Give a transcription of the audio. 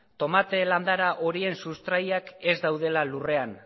tomate landara horien sustraiak ez daudela lurrean